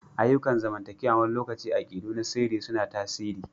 Ayyukan zamantakewa wani lokaci akidu na sirri suna tasiri.